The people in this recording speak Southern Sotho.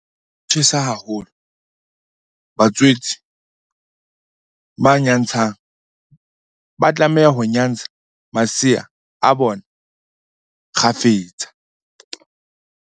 Ha ho tjhesa haholo, batswetse ba nyantshang ba tlameha ho nyantsha masea a bona kgafetsa.